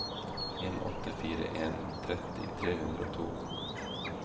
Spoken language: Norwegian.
en åtte fire en tretti tre hundre og to